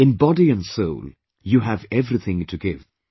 In Body and Soul You have everything to give,